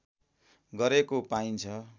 गरेको पाइन्छ